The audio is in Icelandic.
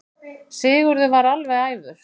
Sigurður varð alveg æfur.